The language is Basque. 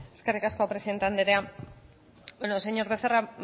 eskerrik asko presidente andrea bueno señor becerra